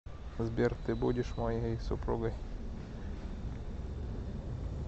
сбер ты будешь моей супругой